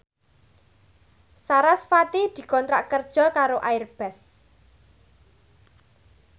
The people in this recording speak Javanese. sarasvati dikontrak kerja karo Airbus